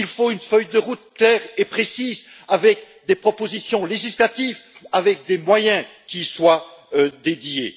Il faut une feuille de route claire et précise, avec des propositions législatives, avec des moyens qui y soient dédiés.